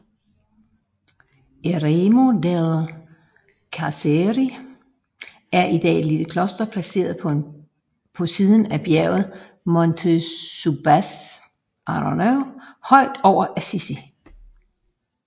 Eremo delle Carceri er i dag et lille kloster placeret på siden af bjerget Monte Subasio højt over Assisi